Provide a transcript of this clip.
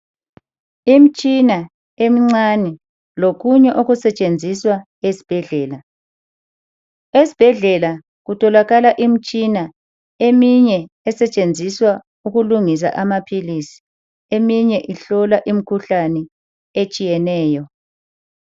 Imtshina emncane lokunye okusetshenziswa esibhedlela. Esibhedlela kutholakala imitshina eminye esetshenziswa ukulungisa amaphilisi eminye ihlola imikhuhlane etshiyeneyo.